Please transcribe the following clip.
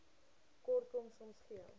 kortkom soms gee